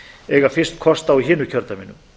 eiga fyrst kost á í hinu kjördæminu